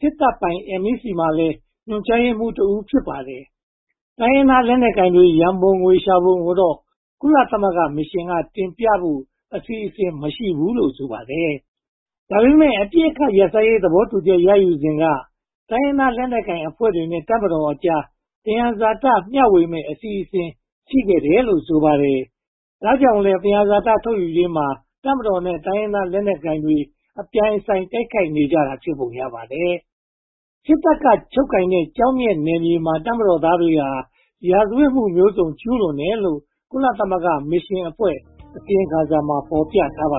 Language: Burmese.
စစ်တပ်ပိုင် MEC မှာလည်း ညွှန်ကြားရေးမှူးတဦး ဖြစ်ပါတယ်။ တိုင်းရင်းသားလက်နက်ကိုင်တွေ ရန်ပုံငွေရှာပုံကိုတော့ ကုလသမဂ္ဂမစ်ရှင်က တင်ပြဖို့ အစီအစဉ် မရှိဘူးလို့ ဆိုပါတယ်။ ဒါပေမဲ့ အပစ်အခတ် ရပ်စဲရေး သဘောတူညီချက် ရယူခဲ့စဉ်က တိုင်းရင်းသားလက်နက်ကိုင်အဖွဲ့တွေနဲ့ တပ်မတော်တို့ကြား သယံဇာတကို မျှဝေမယ့် အစီအစဉ် ရှိခဲ့တယ်လို့ ဆိုပါတယ်။ ဒါကြောင့်လဲ သယံဇာတ ထုတ်ယူရေးမှာ တပ်မတော်နဲ့ တိုင်းရင်းသားလက်နက်ကိုင်တွေ အပြိုင်အဆိုင် တိုက်ခိုက်နေကြတာ ဖြစ်ပုံရပါတယ်။ စစ်တပ်က ချုပ်ကိုင်ထားတဲ့ ကျောက်မျက်နယ်မြေတွေမှာ တပ်မတော်သားတွေဟာ ရာဇဝတ်မှု မျိုးစုံကျူးလွန်နေတယ်လို့ ကုလသမဂ္ဂမစ်ရှင်အဖွဲ့ အစီရင်ခံစာမှာ ဖော်ပြထားပါ